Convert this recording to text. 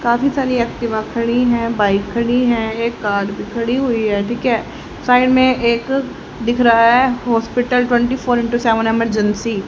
काफी सारी एक्टिवा खड़ी है बाइक खड़ी है एक कार भी खड़ी हुई है ठीक है साइड में एक दिख रहा है hospital twenty four into seven emergency.